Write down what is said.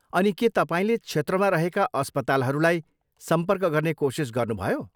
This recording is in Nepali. अनि, के तपाईँले क्षेत्रमा रहेका अस्पतालहरूलाई सम्पर्क गर्ने कोसिस गर्नुभयो?